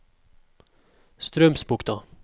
Straumsbukta